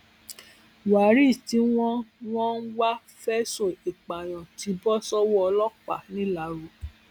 waris tí wọn ń wọn ń wá fẹsùn ìpànìyàn ti bọ sọwọ ọlọpàá ńìlárò